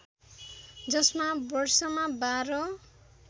जसमा वर्षमा बाह्र